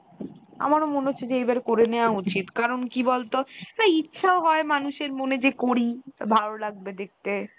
আমার ও মনে হচ্ছে যে এইবারে করে নেয়া উচিৎ কারণ কি বলতো? এই ইচ্ছা হয় মানুষের মনে যে করি ভালো লাগবে দেখতে।